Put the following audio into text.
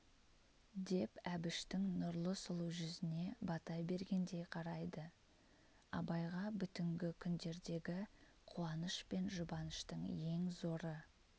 деп әбіштің нұрлы сұлу жүзіне бата бергендей қарайды абайға бүтінгі күндердегі қуаныш пен жұбаныштың ең зоры